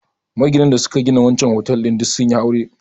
Maginan da suka gina wancen otal ɗin duk sun yi aure